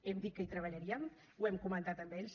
hem dit que hi treballaríem ho hem comentat amb ells